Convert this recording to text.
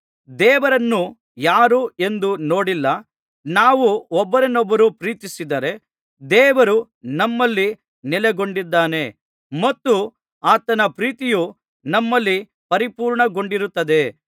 ದೇವರನ್ನು ಯಾರೂ ಎಂದೂ ನೋಡಿಲ್ಲ ನಾವು ಒಬ್ಬರನ್ನೊಬ್ಬರು ಪ್ರೀತಿಸಿದರೆ ದೇವರು ನಮ್ಮಲ್ಲಿ ನೆಲೆಗೊಂಡಿದ್ದಾನೆ ಮತ್ತು ಆತನ ಪ್ರೀತಿಯು ನಮ್ಮಲ್ಲಿ ಪರಿಪೂರ್ಣಗೊಂಡಿರುತ್ತದೆ